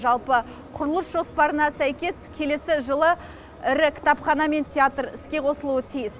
жалпы құрылыс жоспарына сәйкес келесі жылы ірі кітапхана мен театр іске қосылуы тиіс